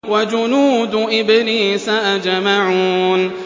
وَجُنُودُ إِبْلِيسَ أَجْمَعُونَ